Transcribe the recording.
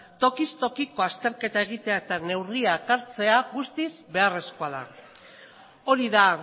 tokiz tokiko azterketa egitea eta neurriak hartzea guztiz beharrezkoa da hori da